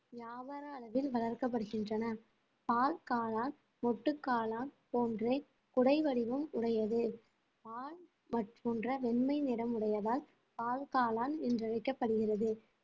வியாபார அளவில் வளர்க்கப்படுகின்றன பால் காளான் மொட்டு காளான் போன்றே குடை வடிவம் உடையது பால் போன்ற வெண்மை நிறமுடையதால் பால்காளான் என்றழைக்கப்படுகிறது